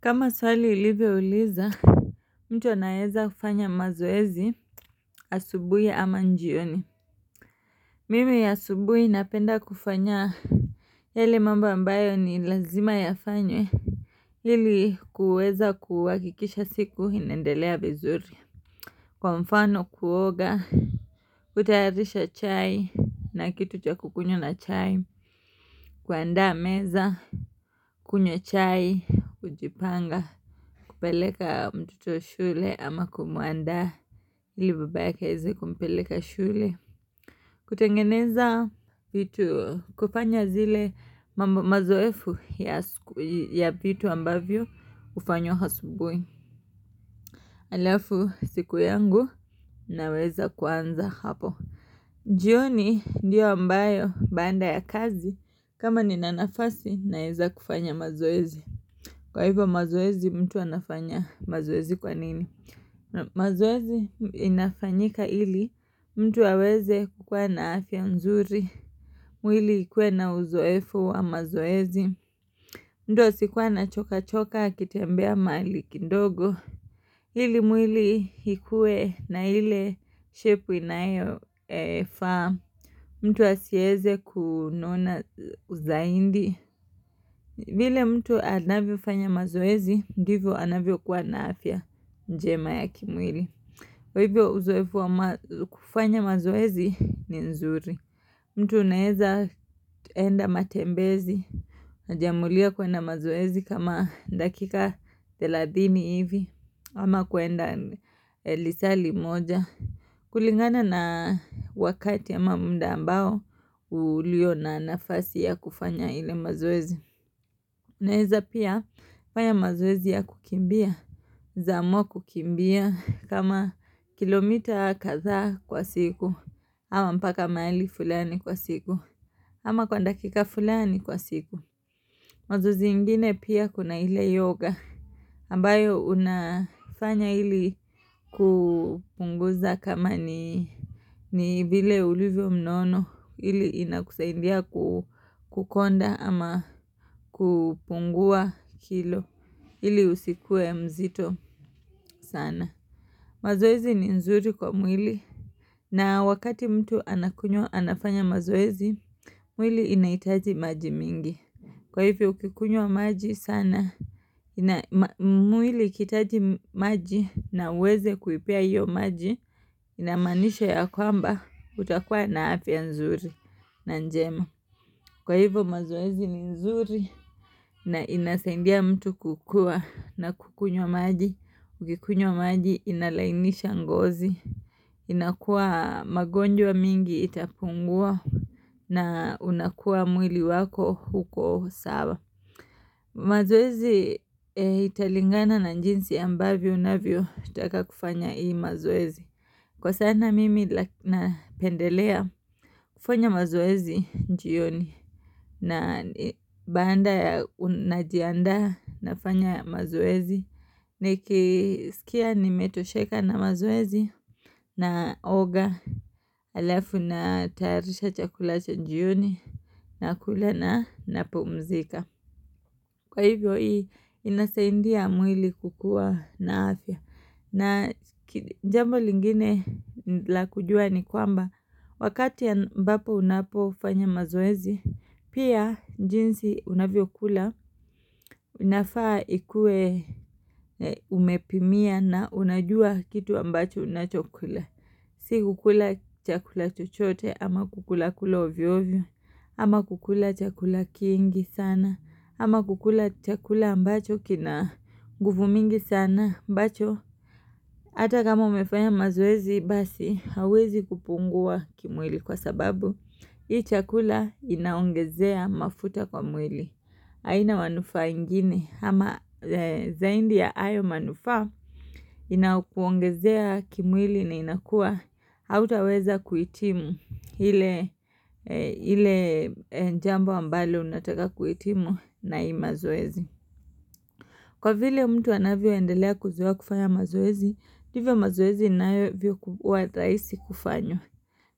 Kama swali ilivyouliza mtu anaeza kufanya mazoezi asubuhi ama njioni Mimi ya asubui napenda kufanya yeale mambo ambayo ni lazima yafanywe ili kuweza kuhakikisha siku inaendelea vizuri Kwa mfano kuoga kutayarisha chai na kitu cha kukunywa na chai kuandaa meza kunywa chai kujipanga kupeleka mtoto shule ama kumwanda li babaka aeze kumpeleka shule kutengeneza vitu kufanya zile mambo mazoefu ya vitu ambavyo hufanywa asubuhi Alafu siku yangu naweza kuanza hapo jioni ndiyo ambayo baanda ya kazi kama nina nafasi naeza kufanya mazoezi Kwa hivyo mazoezi mtu anafanya mazoezi kwa nini mazoezi inafanyika ili mtu aaweze kukua na afya mzuri mwili ikuwe na uzoefu wa mazoezi mtu asikuwe anachoka choka akitembea mahali kindogo ili mwili ikuwe na ile shepu inayofaa mtu asieze kunona zaindi vile mtu anavyofanya mazoezi ndivyo anavyokua na afya njema ya kimwili kwa hivyo uzoefu wa kufanya mazoezi ni nzuri. Mtu unaeza enda matembezi, najiamulia kuenda mazoezi kama dakika thelathini hivi, ama kuenda lisali moja. Kulingana na wakati ama mda ambao, ulio na nafasi ya kufanya ile mazoezi. Naeza pia fanya mazoezi ya kukimbia, naeza amua kukimbia, kama kilomita kadhaa kwa siku, ama mpaka mahali fulani kwa siku, ama kwa dakika fulani kwa siku. Mazoezi ingine pia kuna ile yoga ambayo unafanya ili kupunguza kama ni ni vile ulivyo mnono ili inakusaidia ku kukonda ama kupungua kilo ili usikue mzito sana. Mazoezi ni nzuri kwa mwili na wakati mtu anakunywa anafanya mazoezi mwili inahitaji maji mingi. Kwa hivyo ukikunywa maji sana, mwili ikihitaji maji na uweze kuipea hiyo maji, inamaanisha ya kwamba utakua na afya nzuri na njema. Kwa hivyo mazoezi ni nzuri na inasaindia mtu kukua na kukunya maji, ukikunywa maji inalainisha ngozi. Inakua magonjwa mingi itapungua na unakua mwili wako uko sawa. Mazoezi italingana na njinsi ambavyo unavyotaka kufanya hii mazoezi Kwa sana mimi napendelea kufanya mazoezi jioni na baanda ya najianda nafanya mazoezi Nikisikia nimetosheka na mazoezi naoga halafu natayarisha chakula cha jioni nakula na napumzika Kwa hivyo hii inasaindia mwili kukua na afya na jambo lingine la kujua ni kwamba wakati ambapo unapofanya mazoezi pia jinsi unavyokula unafaa ikue umepimia na unajua kitu ambacho unachokula. Si kukula chakula chochote ama kukula kula ovyo ovyo, ama kukula chakula kingi sana, ama kukula chakula ambacho kina nguvu mingi sana, ambacho, hata kama umefanya mazoezi basi, hawezi kupungua kimwili kwa sababu, hii chakula inaongezea mafuta kwa mwili. Haina manufaa ingine ama zaindi ya hayo manufaa inakuongezea kimwili na inakua hautaweza kuhitimu ile ile njambo ambalo unataka kuhitimu na hii mazoezi. Kwa vile mtu anavyoendelea kuzoea kufanya mazoezi, hivyo mazoezi inayovyokukuwa rahisi kufanywa.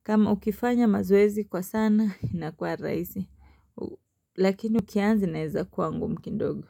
Kama ukifanya mazoezi kwa sana inakuwa rahisi Lakini ukianza inaeza kuwa ngumu kidogo.